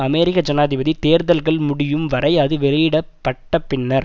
அமெரிக்க ஜனாதிபதி தேர்தல்கள் முடியும் வரை அது வெளியிட பட்ட பின்னர்